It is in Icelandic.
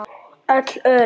Öll örin.